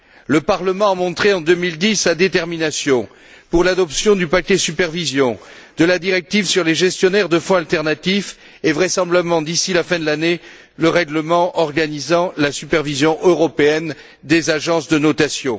Le Parlement a montré, en 2010, sa détermination pour l'adoption du paquet supervision, de la directive sur les gestionnaires de fonds alternatifs et, vraisemblablement d'ici la fin de l'année, le règlement organisant la supervision européenne des agences de notation.